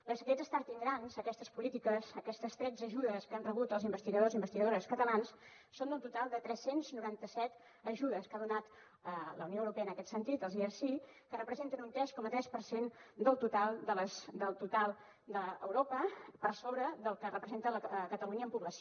perquè aquests starting grants aquestes polítiques aquestes tretze ajudes que han rebut els investigadors i investigadores catalans són un total de tres cents i noranta set ajudes que ha donat la unió europea en aquest sentit els erc que representen un tres coma tres per cent del total d’europa per sobre del que representa a catalunya en població